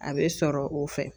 A bɛ sɔrɔ o fɛ.